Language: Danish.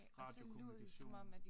Radiokommunikation